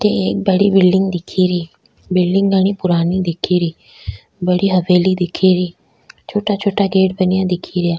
अठे एक बड़ी बिल्डिंग दिखेरी बिल्डिंग बड़ी पुराणी दिखेरी बड़ी हवेली दिखेरी छोटा छोटा गेट बनिया दिखेरा।